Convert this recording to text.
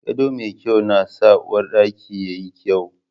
Gado mai kyau na sa uwarɗaki yayi kyau